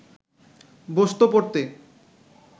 বসতো পড়তে